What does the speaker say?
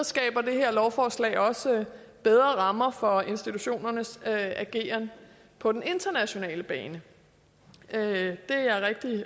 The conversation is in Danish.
skaber det her lovforslag også bedre rammer for institutionernes ageren på den internationale bane det